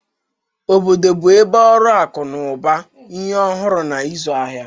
Obodo bụ ebe ọrụ akụ na ụba, ihe ọhụrụ, na ịzụ ahịa.